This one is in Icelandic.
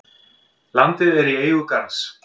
Landið er í eigu Garðs.